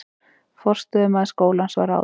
Forstöðumaður skólans var ráðinn